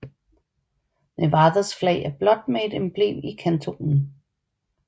Nevadas flag er blåt med et emblem i kantonen